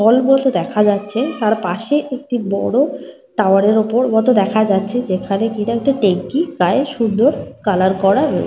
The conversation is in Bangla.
হল মতো দেখা যাচ্ছে। তার পাশে একটি বড় টাওয়ার এর ওপর মতো দেখা যাচ্ছে। যেখানে কিনা একটি ট্যাঙ্কি প্রায় সুন্দর কালার করা রয়ে--